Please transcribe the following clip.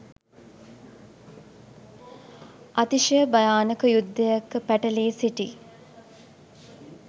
අතිශය භයානක යුද්ධයක පැටලී සිටි